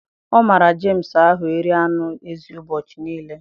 Ọ mara James ahụ iri anụ ezi ubochi nile